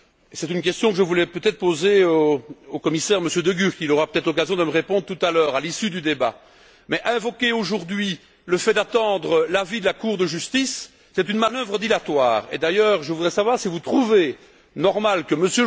C'est une question que je voulais peut être poser au commissaire, Monsieur De Gucht. Il aura sans doute l'occasion de me répondre tout à l'heure, à l'issue du débat. Mais invoquer aujourd'hui le fait d'attendre l'avis de la Cour de justice, c'est une manœuvre dilatoire et, d'ailleurs, je voudrais savoir si vous trouvez normal que M.